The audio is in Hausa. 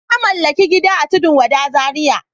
Na mallaki gida a Tudun wada Zaria.